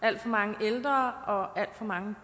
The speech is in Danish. alt for mange ældre og alt for mange